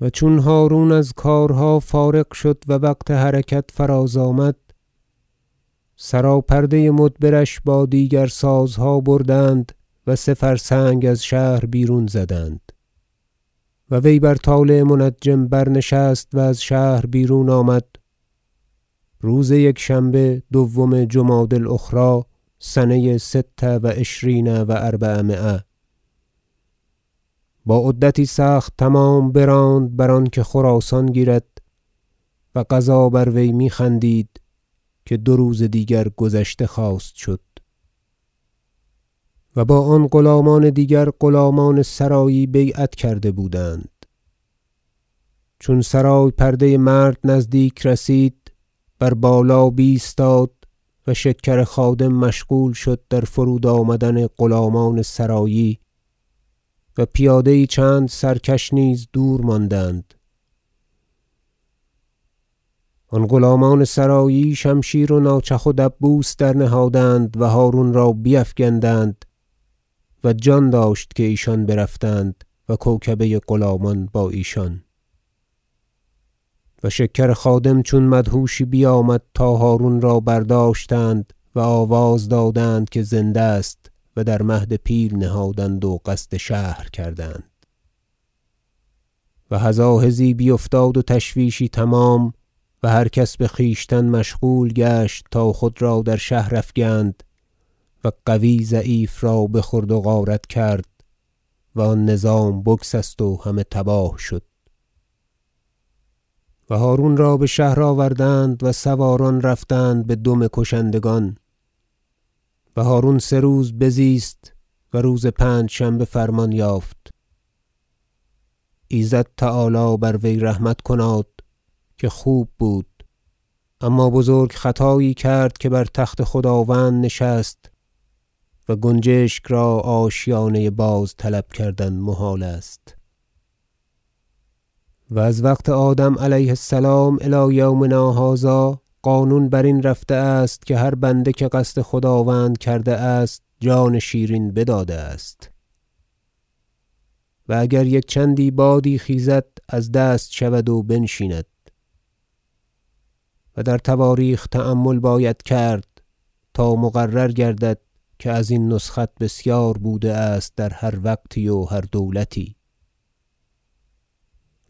و چون هرون از کارها فارغ شد و وقت حرکت فراز آمد سراپرده مدبرش با دیگر سازها بردند و سه فرسنگ از شهر بیرون زدند و وی بر طالع منجم برنشست و از شهر بیرون آمد روز یکشنبه دوم جمادی الأخری سنه ست و عشرین و اربعمایه با عدتی سخت تمام براند بر آنکه خراسان بگیرد و قضا بر وی میخندید که دو روز دیگر گذشته خواست شد و با آن غلامان دیگر غلامان سرایی بیعت کرده بودند چون سرای پرده مرد نزدیک رسید بر بالا بیستاد و شکر خادم مشغول شد در فرود آمدن غلامان سرایی و پیاده یی چند سرکش نیز دور ماندند آن غلامان سرایی شمشیر و ناچخ و دبوس درنهادند و هرون را بیفگندند و جان داشت که ایشان برفتند و کوکبه غلامان با ایشان و شکر خادم چون مدهوشی بیامد تا هرون را برداشتند و آواز دادند که زنده است و در مهد پیل نهادند و قصد شهر کردند و هزاهزی بیفتاد و تشویشی تمام و هر کس بخویشتن مشغول گشت تا خود را در شهر افگند و قوی ضعیف را بخورد و غارت کرد و آن نظام بگسست و همه تباه شد و هرون را بشهر آوردند و سواران رفتند بدم کشندگان و هرون سه روز بزیست و روز پنجشنبه فرمان یافت ایزد تعالی بر وی رحمت کناد که خوب بود اما بزرگ خطایی کرد که بر تخت خداوند نشست و گنجشک را آشیانه باز طلب کردن محال است و از وقت آدم علیه السلام الی یومنا هذا قانون برین رفته است که هر بنده که قصد خداوند کرده است جان شیرین بداده است و اگر یک چندی بادی خیزد از دست شود و بنشیند و در تواریخ تأمل باید کرد تا مقرر گردد که ازین نسخت بسیار بوده است در هر وقتی و هر دولتی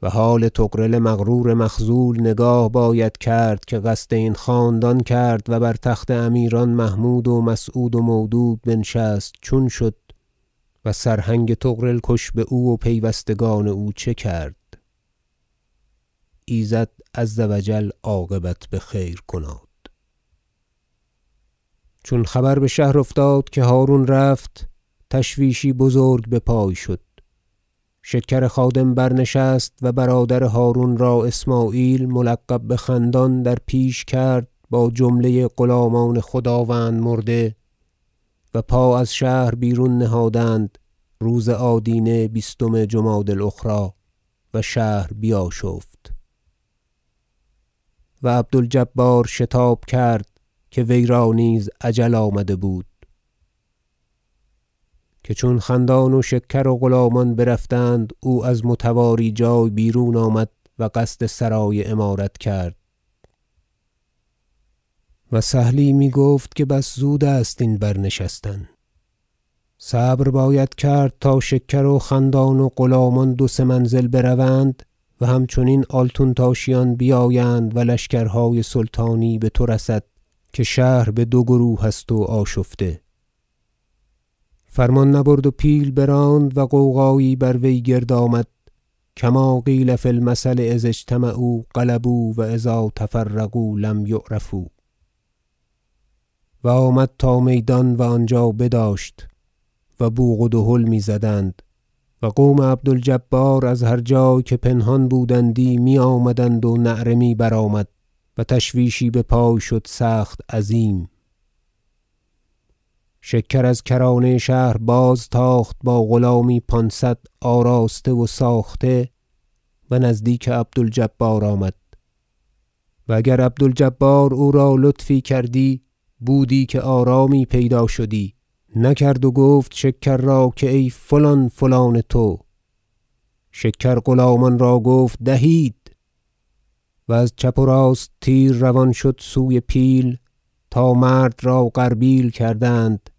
و حال طغرل مغرور مخذول نگاه باید کرد که قصد این خاندان کرد و بر تخت امیران محمود و مسعود و مودود بنشست چون شد و سرهنگ طغرل کش باو و پیوستگان او چه کرد ایزد عز و جل عاقبت بخیر کناد کشته شدن عبد الجبار و بازگشت اسمعیل چون خبر بشهر افتاد که هرون رفت تشویشی بزرگ بپای شد شکر خادم برنشست و برادر هرون را اسمعیل ملقب بخندان در پیش کرد با جمله غلامان خداوند مرده و پا از شهر بیرون نهادند روز آدینه بیستم جمادی الأخری و شهر بیاشفت و عبد الجبار شتاب کرد که ویرا نیز اجل آمده بود که چون خندان و شکر و غلامان برفتند او از متواری جای بیرون آمد و قصد سرای امارت کرد و سهلی میگفت که بس زود است این برنشستن صبر باید کرد تا شکر و خندان و غلامان دو سه منزل بروند و همچنین آلتونتاشیان بیایند و لشکرهای سلطانی بتو رسد که شهر بدو گروه است و آشفته فرمان نبرد و پیل براند و غوغایی بر وی گرد آمد کما قیل فی المثل اذا اجتمعوا غلبوا و اذا تفرقوا لم یعرفوا و آمد تا میدان و آنجا بداشت و بوق و دهل میزدند و قوم عبد الجبار از هر جای که پنهان بودندی میآمدند و نعره می برآمد و تشویشی بپای شد سخت عظیم شکر از کرانه شهر بازتاخت با غلامی پانصد آراسته و ساخته و نزدیک عبد الجبار آمد و اگر عبد الجبار او را لطفی کردی بودی که آرامی پیدا شدی نکرد و گفت شکر را ای فلان فلان تو شکر غلامان را گفت دهید و از چپ و راست تیر روان شد سوی پیل تا مرد را غربیل کردند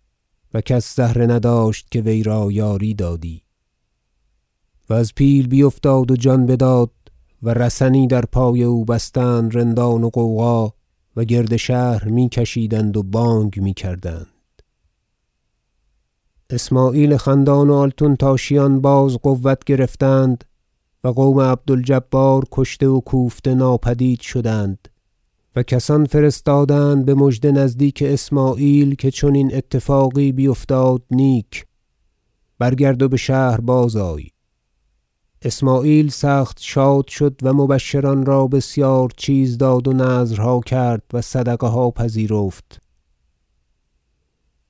و کس زهره نداشت که ویرا یاری دادی و از پیل بیفتاد و جان بداد و رسنی در پای او بستند رندان و غوغا و گرد شهر می کشیدند و بانگ میکردند اسمعیل خندان و آلتونتاشیان باز قوت گرفتند و قوم عبد الجبار کشته و کوفته ناپدید شدند و کسان فرستادند بمژده نزدیک اسمعیل که چنین اتفاقی بیفتاد نیک برگرد و بشهر بازآی اسمعیل سخت شاد شد و مبشران را بسیار چیز داد و نذرها کرد و صدقه ها پذیرفت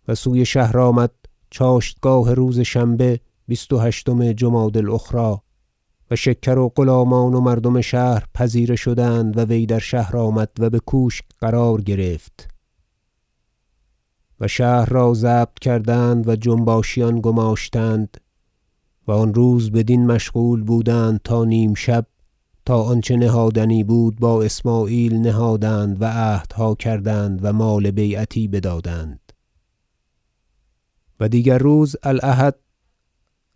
و سوی شهر آمد چاشتگاه روز شنبه بیست و هشتم جمادی- الأخری و شکر و غلامان و مردم شهر پذیره شدند و وی در شهر درآمد و بکوشک قرار گرفت و شهر را ضبط کردند و جنباشیان گماشتند و آن روز بدین مشغول بودند تا نیمشب تا آنچه نهادنی بود با اسمعیل نهادند و عهدها کردند و مال بیعتی بدادند و دیگر روز الأحد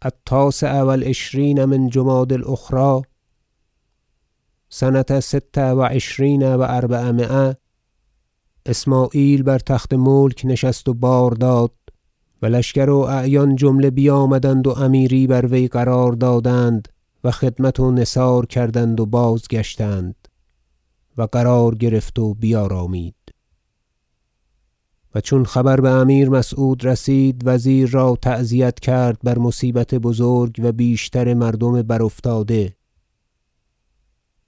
التاسع و العشرین من جمادی الاخری سنه ست و عشرین و اربعمایه اسمعیل بر تخت ملک نشست و بار داد و لشکر و اعیان جمله بیامدند و امیری بر وی قرار دادند و خدمت و نثار کردند و بازگشتند و قرار گرفت و بیارامید و چون خبر بامیر مسعود رسید وزیر را تعزیت کرد بر مصیبت بزرگ و بیشتر مردم برافتاده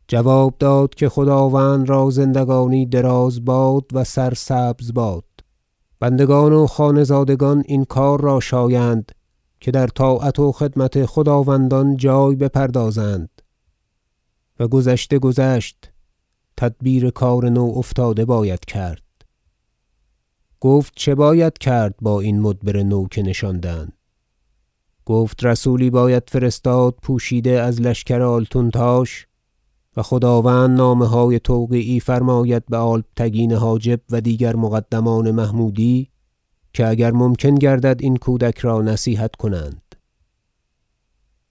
جواب داد که خداوند را زندگانی دراز باد و سرسبز باد بندگان و خانه زادگان این کار را شایند که در طاعت و خدمت خداوندان جای بپردازند و گذشته گذشت تدبیر کار نو افتاده باید کرد گفت چه باید کرد با این مدبر نو که نشاندند گفت رسولی باید فرستاد پوشیده از لشکر آلتونتاش و خداوند نامه- های توقیعی فرماید بالبتگین حاجب و دیگر مقدمان محمودی که اگر ممکن گردد این کودک را نصیحت کنند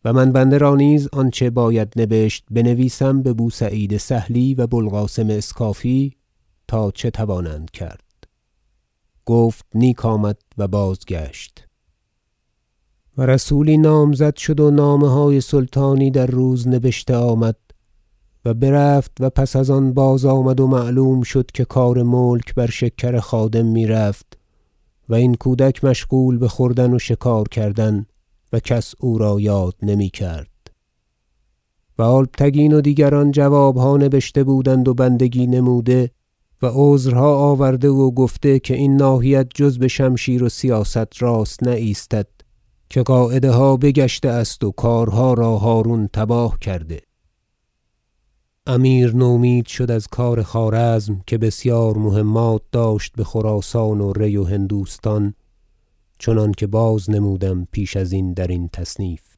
و من بنده را نیز آنچه باید نبشت بنویسم ببو سعید سهلی و بو القاسم اسکافی تا چه توانند کرد گفت نیک آمد و بازگشت و رسولی نامزد شد و نامه های سلطانی در روز نبشته آمد و برفت و پس از آن بازآمد و معلوم شد که کار ملک بر شکر خادم میرفت و این کودک مشغول بخوردن و شکار کردن و کس او را یاد نمیکرد و البتگین و دیگران جوابها نبشته بودند و بندگی نموده و عذرها آورده و گفته که این ناحیت جز بشمشیر و سیاست راست نایستد که قاعده ها بگشته است و کارها را هرون تباه کرده امیر نومید شد از کار خوارزم که بسیار مهمات داشت بخراسان و ری و هندوستان چنانکه باز نمودم پیش ازین در تصنیف